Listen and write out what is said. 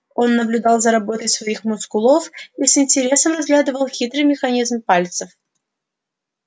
он наблюдал за работой своих мускулов и с интересом разглядывал хитрый механизм пальцев